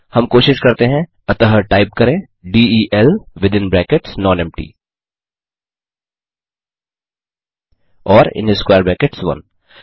हम कोशिश करते हैं टाइप करें delnonempty1 अतः टाइप करें del विथिन ब्रैकेट्स नॉनेम्पटी और स्क्वेयर ब्रैकेट्स 1